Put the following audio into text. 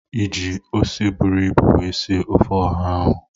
I ji ose buru ibu wee sie ofe Oha ahụ?